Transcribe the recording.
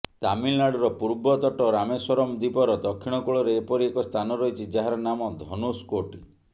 ତାମିଲନାଡୁର ପୂର୍ବ ତଟ ରାମେଶ୍ୱରମ ଦ୍ୱୀପର ଦକ୍ଷିଣ କୂଳରେ ଏପରି ଏକ ସ୍ଥାନ ରହିଛି ଯାହାର ନାମ ଧନୁଷକୋଟି